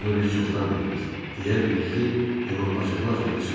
Bunu biz çoxdan bilirik, - deyə Birlik onu acıqlı-acıqlı süzdü.